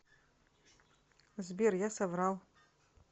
сбер я соврал